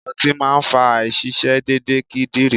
Ọtí máa ń fa àìṣiṣé déedéde kídìrí.